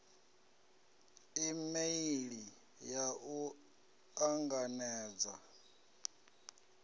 e meili ya u anganedza